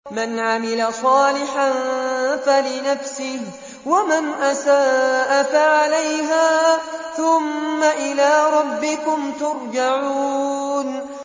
مَنْ عَمِلَ صَالِحًا فَلِنَفْسِهِ ۖ وَمَنْ أَسَاءَ فَعَلَيْهَا ۖ ثُمَّ إِلَىٰ رَبِّكُمْ تُرْجَعُونَ